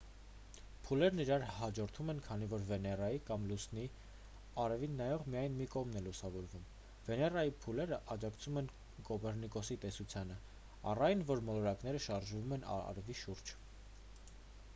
փուլերն իրար հաջորդում են քանի որ վեներայի կամ լուսնի արևին նայող միայն մի կողմն է լուսավորվում: վեներայի փուլերը աջակցում են կոպեռնիկոսի տեսությանը առ այն որ մոլորակները շարժվում են արևի շուրջ: